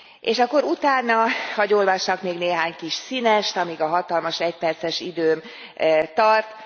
És akkor utána hadd olvassak még néhány kis színest, amíg a hatalmas egyperces időm tart.